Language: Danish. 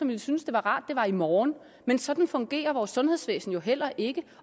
ville synes det var rart det var i morgen men sådan fungerer vores sundhedsvæsen jo heller ikke